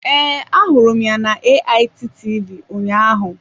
Ee, ahụrụ m ya na AIT TV ụnyaahụ.